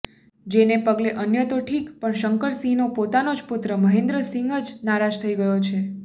જેને પગલે અન્ય તો ઠીક પણ શંકરસિંહનો પોતાનો પુત્ર મહેન્દ્રસિંહ જ નારાજ થઈ ગયો છે